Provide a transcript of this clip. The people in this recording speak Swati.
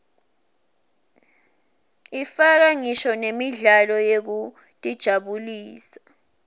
ifaka ngisho nemidlalo yekutijabulisa